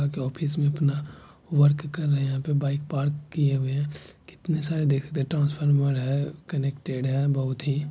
office मे अपना work कर रहे हे यहा पे बाइक पार्क किए हुए हें कितने सारे ट्रांसफार्मर है कनेक्टेड हे बहुत ही--